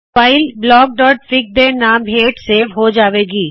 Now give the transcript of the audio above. file blockਫਿਗ ਦੇ ਨਾਮ ਹੇਠ ਸੇਵ ਹੋ ਜਾਵੇ ਗੀ